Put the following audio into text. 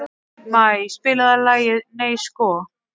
Maj, spilaðu lagið „Nei sko“.